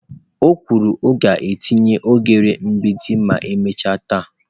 O kwuru " ọ ga-etinye oghere mgbidi ma emechaa taa."